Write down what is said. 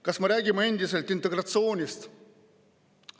Kas me räägime endiselt integratsioonist?